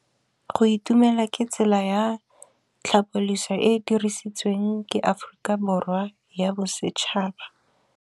Go itumela ke tsela ya tlhapolisô e e dirisitsweng ke Aforika Borwa ya Bosetšhaba.